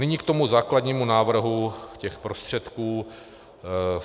Nyní k tomu základnímu návrhu těch prostředků.